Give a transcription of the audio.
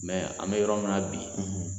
an bɛ yɔrɔ min na bi